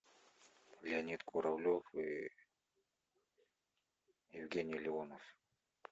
леонид куравлев и евгений леонов